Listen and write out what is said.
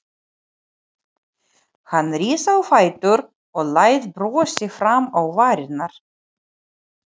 Hann rís á fætur og læðir brosi fram á varirnar.